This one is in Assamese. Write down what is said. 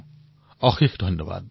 বহুত বহুত ধন্যবাদ